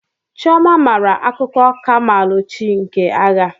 Chioma mara akuko kamalu chi nke agha.